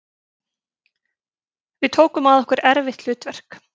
Við tókum að okkur erfitt hlutverk